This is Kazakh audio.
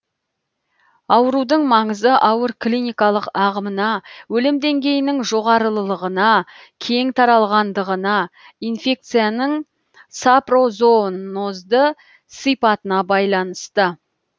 аурудың маңызы ауыр клиникалық ағымына өлім деңгейінің жоғарылығына кең таралғандығына инфекцияның сапрозоонозды сипатына байланысты